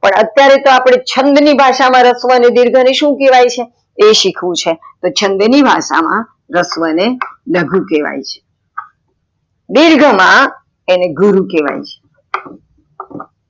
પણ અત્યારે અપડે છંદ ની ભાષા માં રસ્વ અને દિર્ઘ ને શું કેવાય એ શીખવું છે, તો છંદ ની ભાષા માં રસ્વ ને લઘુ કેવાય છે, દીર્ઘ માં એને ગુરુ કેવાય છે.